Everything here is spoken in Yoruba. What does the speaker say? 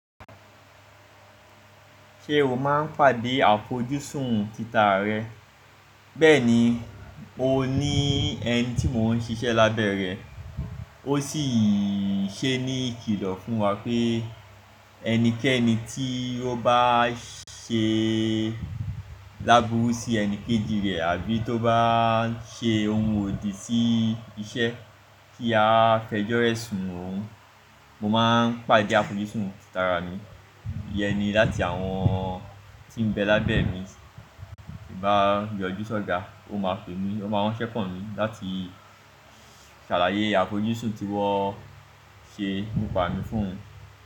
Ṣé o máa ń pàdé àfojúsùn títà rẹ? Bẹ́ẹ̀ni, mo ní ẹni tí mò ń ṣiṣẹ́ lábẹ́ rẹ̀, ó sì ṣe ní ìkìlọ̀ fún wa pé ẹnikẹ́ni tí ó bá ṣe láburú sí ẹni kejì rẹ̀ àbí tó bá ṣe ohun òdì sí iṣẹ́ tí a fẹjọ́rẹ́ sùn òun, mo máa ń pàdé àfojúsùn títà mi. Iyẹn ni láti àwọn tí ń bẹ lábẹ́ mi bá yọjú sọ́ga, ó máa pè mí, ó máa ránṣẹ́ kàn mí, láti ṣàlàyé àfojúsùn tí wọ́n ṣe pàdé fún mi.